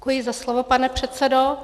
Děkuji za slovo, pane předsedo.